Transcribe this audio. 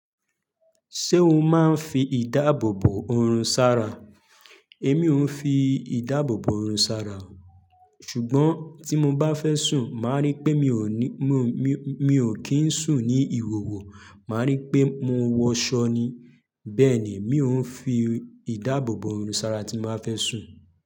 Ṣé o máa ń fi ìdáàbòbò oorun sára? Èmi ò ń fi ìdáàbòbò ọ̀run sára o. Ṣùgbọ́n tí mo bá fẹ́ sùn, màá rí pé mi ò ní, mi ò kí ń sùn ní ìhòhò, màá rí pé mo wọ ṣọ́ ni. Bẹ́ẹ̀ ni, mi ò ń fi ìdáàbòbò ọ̀run sára tí màá fẹ́ sùn.